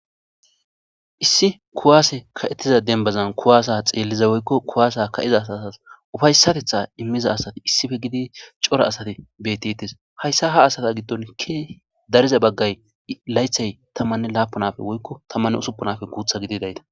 Issi kuwaase ka7ettiza denbazan kuwaasa xeelliza woykko kuwaasa ka7iza satas ufaysatetha immiza asati issife gidi cora asati betiitis hayssa ha asata giddon ikki dariza baggay laythay tammanne laapunafe woykko tammanne usuppunafe guutha gidi dayta.